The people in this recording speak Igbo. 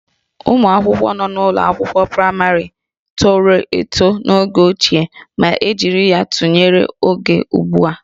Ụmụ akwụkwọ nọ n'ụlọ akwụkwọ praịmarị tọrọ eto n'oge ochie ma e jiri ya tụnyere ugbu a